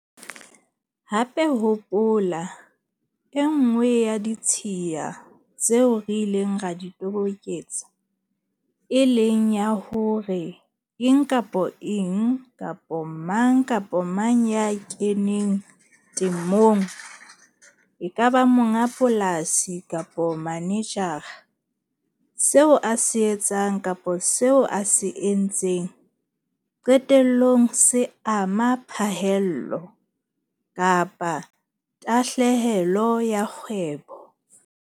Hape hopola e nngwe ya ditshiya tseo re ileng ra di toboketsa, e leng ya hore eng kapa eng kapa mang kapa mang ya keneng temong, e ka ba monga polasi kapa manejara, seo a se etsang kapa seo a sa se etseng, qetellong se ama phaello - tahlehelo ya kgwebo.